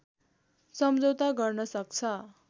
सम्झौता गर्न सक्छ